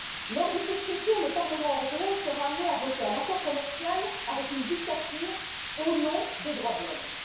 Lors de cette session, le Parlement européen sera amené à voter un accord commercial avec une dictature, au nom des droits de l'homme.